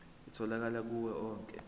itholakala kuwo onke